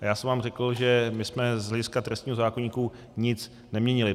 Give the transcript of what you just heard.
A já jsem vám řekl, že my jsme z hlediska trestního zákoníku nic neměnili.